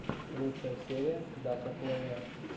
лучшая серия дака плэйя